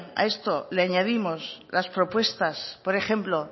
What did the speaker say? a esto le añadimos las propuestas por ejemplo